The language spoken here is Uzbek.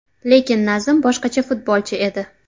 Lekin Nazim boshqacha futbolchi edi.